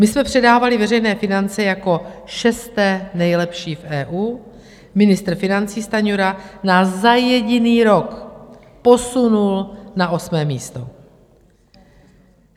My jsme předávali veřejné finance jako šesté nejlepší v EU, ministr financí Stanjura nás za jediný rok posunul na osmé místo.